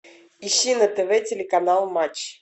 ищи на тв телеканал матч